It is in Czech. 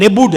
Nebude.